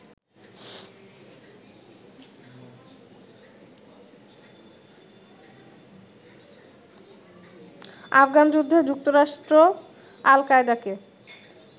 আফগান যুদ্ধে যুক্তরাষ্ট্র আল কায়দাকে